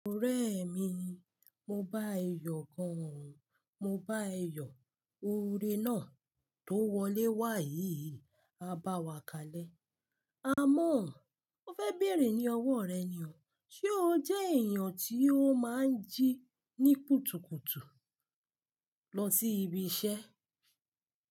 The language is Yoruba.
Ọ̀rẹ́ mi, mo báa e yọ gan. Mo báa yọ. Oore náà tó wọlé wáyi á bá wa kalẹ̀. Àmọ́, ó fẹ́ béèrè ní ọwọ́ rẹ ni o. Ṣé o jẹ́ èèyàn tí ó máa ń jí ní kùtùkùtù lọ sí ibi iṣẹ́?